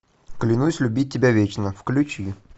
клянусь любить тебя вечно включи